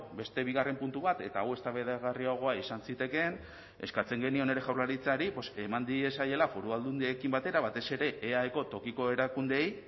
beste bigarren puntu bat eta hau eztabaidagarriagoa izan zitekeen eskatzen genion ere jaurlaritzari eman diezaiela foru aldundiekin batera batez ere eaeko tokiko erakundeei